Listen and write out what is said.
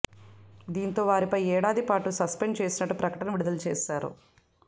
దీంతో వారిపై ఏడాది పాటు సస్పెండ్ చేసినట్టు ప్రకటన విడుదల చేశారు